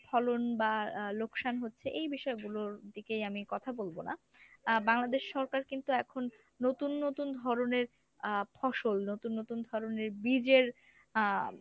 ফলন বা আহ লোকসান হচ্ছে এই বিষয়গুলোর দিকে আমি কথা বলবো না । আহ বাংলাদেশ সরকার কিন্তু এখন নতুন নতুন ধরনের আহ ফসল নতুন নতুন ধরনের বীজের আহ